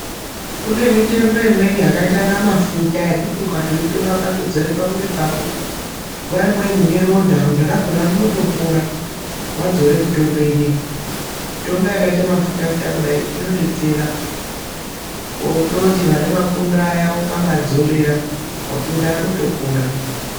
Kune mitombo imweni yakaita inga mafuta yekuti ukaitora ukatodzore pamwiiri pako nguwa imweni uneronda. Ronda rakona rinotopora, wadzora mitombo inei. Mitombo yakaite mafuta futa kudai, inodetsera. Wototi vane mapundu aya ukamadzorera, mapundu aya anotopora.